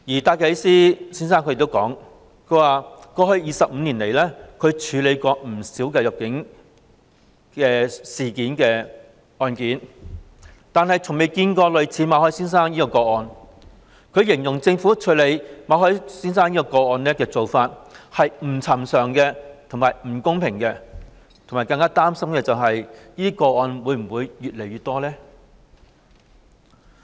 戴啟思先生亦指出，過去25年來，他處理過不少與入境事宜相關的案件，但從未見過類似馬凱先生的個案，形容政府處理這個案的做法是"不尋常和不公平"，更擔心未來會有更多類似個案。